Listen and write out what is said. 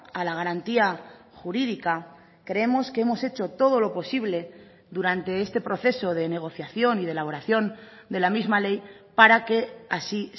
a la garantía jurídica creemos que hemos hecho todo lo posible durante este proceso de negociación y de elaboración de la misma ley para que así